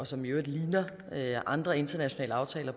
som i øvrigt ligner andre internationale aftaler